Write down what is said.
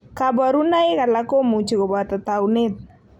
Kaborunoik alak komuchi koboto tanuet